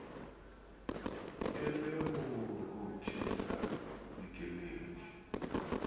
e le ho rothisa keledi